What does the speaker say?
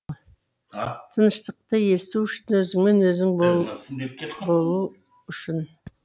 тыныштықты есту үшін өзіңмен өзің болу үшін